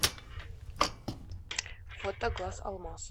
фото глаз алмаз